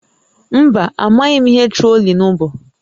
Mba, amaghị m ihe trolling bụ